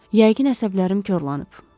Yəqin əsəblərim korlanıb.